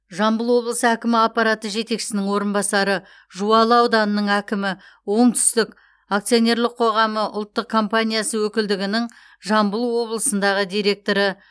жамбыл облысы әкімі аппараты жетекшісінің орынбасары жуалы ауданының әкімі оңтүстік акционерлік қоғамы ұлттық компаниясы өкілдігінің жамбыл облысындағы директоры